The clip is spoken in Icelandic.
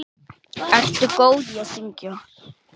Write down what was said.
Ertu góð í að syngja?